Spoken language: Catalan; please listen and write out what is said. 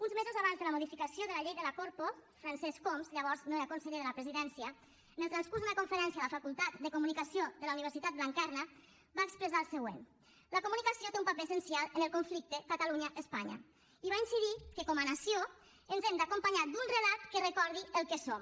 uns mesos abans de la modificació de la llei de la corpo francesc homs llavors no era conseller de la presidència en el transcurs d’una conferència a la facultat de comunicació de la universitat blanquerna va expressar el següent la comunicació té un paper essencial en el conflicte catalunya espanya i va incidir que com a nació ens hem d’acompanyar d’un relat que recordi el que som